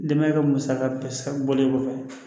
Denbaya ka musaka bɛɛ bɔlen kɔfɛ